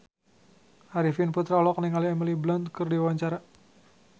Arifin Putra olohok ningali Emily Blunt keur diwawancara